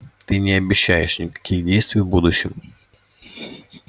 ты не обещаешь никаких действий в будущем